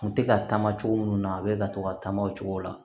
Kun tɛ ka taama cogo minnu na a bɛ ka to ka taama o cogo la